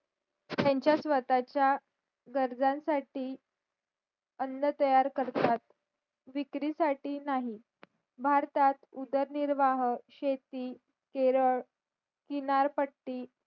त्याचा स्वतःचा गरजांसाठी अन्न तयार करतात विकारी साठी नाही भारतात उदरनिर्वाह शेती केरळ किनारपट्टी